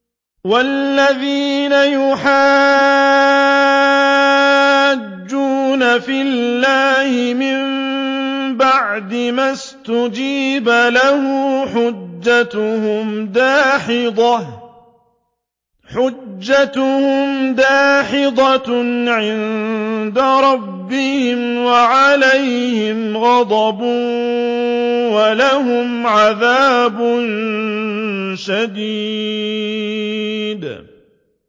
وَالَّذِينَ يُحَاجُّونَ فِي اللَّهِ مِن بَعْدِ مَا اسْتُجِيبَ لَهُ حُجَّتُهُمْ دَاحِضَةٌ عِندَ رَبِّهِمْ وَعَلَيْهِمْ غَضَبٌ وَلَهُمْ عَذَابٌ شَدِيدٌ